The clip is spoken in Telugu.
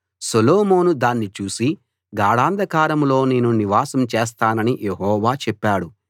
సొలొమోను దాన్ని చూసి గాఢాంధకారంలో నేను నివాసం చేస్తానని యెహోవా చెప్పాడు